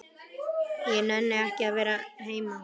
Ég nenni ekki að vera heima.